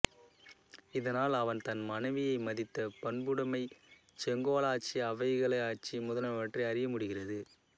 இதனால் அவன் தன் மனைவியை மதித்த பண்புடைமை செங்கோலாட்சி அவைக்கள ஆட்சி முதலானவற்றை அறியமுடிகிறது